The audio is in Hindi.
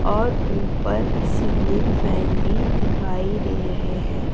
और ऊपर सीलिंग फैन भी दिखाई दे रहे है।